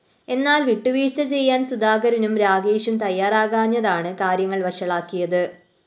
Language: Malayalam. എന്നാല്‍ വിട്ടുവീഴ്ച ചെയ്യാന്‍ സുധാകരനും രാഗേഷും തയ്യാറാകാഞ്ഞതാണ് കാര്യങ്ങള്‍ വഷളാക്കിയത്